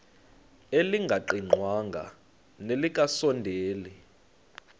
elingaqingqwanga nelinge kasondeli